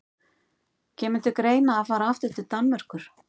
Kemur til greina að fara aftur til Danmerkur?